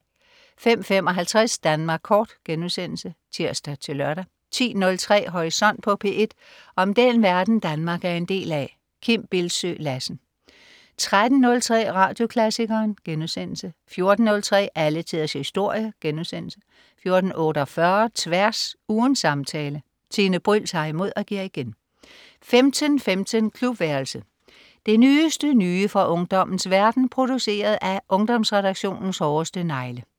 05.55 Danmark Kort* (tirs-lør) 10.03 Horisont på P1. Om den verden, Danmark er en del af. Kim Bildsøe Lassen 13.03 Radioklassikeren* 14.03 Alle tiders historie* 14.48 Tværs. Ugens samtale. Tine Bryld tager imod og giver igen 15.15 Klubværelset. Det nyeste nye fra ungdommens verden, produceret af Ungdomsredaktionens hårdeste negle